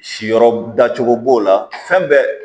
Siyɔrɔ dacogo b'o la fɛn bɛɛ